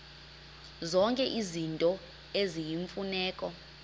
zonke izinto eziyimfuneko